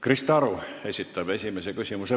Krista Aru esitab esimese küsimuse.